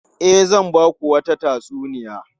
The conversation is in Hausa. E, zan ba ku wata tatsuniya.